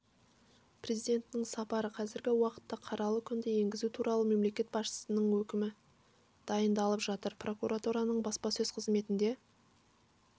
президентінің сапары қазіргі уақытта қаралы күнді енгізу туралы мемлекет басшысының өкімі дайындалып жатыр прокуратураның баспасөз қызметінде